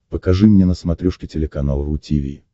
покажи мне на смотрешке телеканал ру ти ви